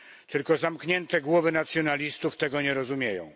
Tylko zamknięte głowy nacjonalistów tego nie rozumieją.